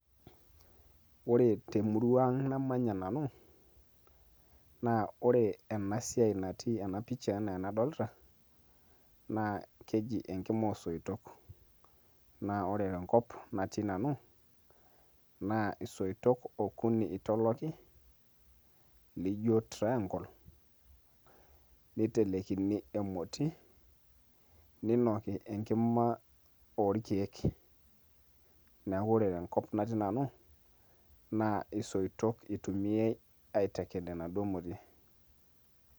ore temurua ang namanya nanu naa ore ena siai natii ena picha enaa enadolita naa keji enkima oosoitok naa ore tenkop natii nanu naa isoitok okuni itoloki lijio triangle nitelekini emoti ninoki enkima orkeek neeku ore tenkop natii nanu naa isoitok itumiai aiteked ena duo moti.